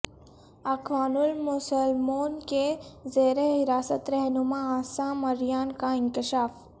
اخوان المسلمون کے زیرحراست رہنما عصام عریان کا انکشاف